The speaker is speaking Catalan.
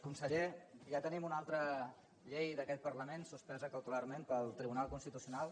conseller ja tenim una altra llei d’aquest parlament suspesa cautelarment pel tribunal constitucional